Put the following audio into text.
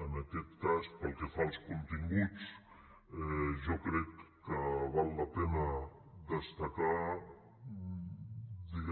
en aquest cas pel que fa als continguts jo crec que val la pena destacar